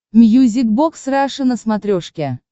мьюзик бокс раша на смотрешке